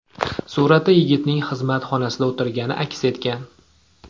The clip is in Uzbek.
Suratda yigitning xizmat xonasida o‘tirgani aks etgan.